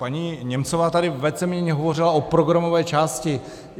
Paní Němcová tady víceméně hovořila o programové části.